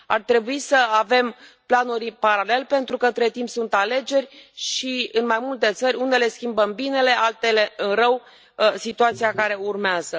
Ar trebui să avem planuri în paralel, pentru că, între timp, sunt alegeri și, în mai multe țări, unele schimbă în bine, altele în rău situația care urmează.